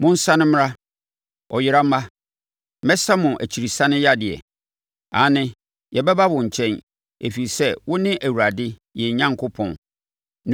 “Monsane mmra, ɔyera mma; mɛsa mo akyirisane yadeɛ no.” “Aane, yɛbɛba wo nkyɛn, ɛfiri sɛ wo ne Awurade, yɛn Onyankopɔn.